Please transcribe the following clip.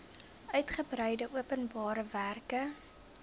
uigebreide openbare werke